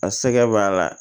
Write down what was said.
A sɛgɛn b'a la